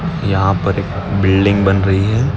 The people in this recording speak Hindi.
यहा पर बिल्डिंग बन रही है।